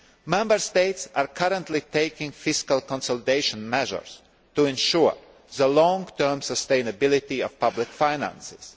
Member States are currently taking fiscal consolidation measures to ensure the long term sustainability of public finances.